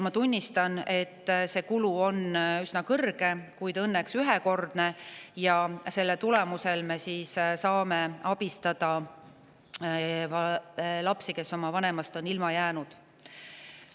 Ma tunnistan, et see kulu on üsna suur, kuid õnneks ühekordne, ja selle tulemusel me saame abistada lapsi, kes on oma vanemast ilma jäänud.